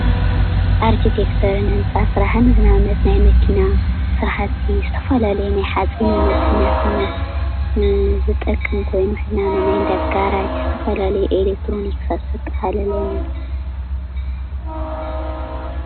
ኣርቴክቸር ህንፃ ስራሕን ናይ መኪና ስራሕቲ ዝተፈላለዩ ናይ ሓፂነ መፂን ዝጠቅም ኮይኑ ንኣብነት ናይ እንዳ ጋራጅ ዝተፈላለዩ ኤሌትሮኒክሳት ዘጠቃልለን እዩ።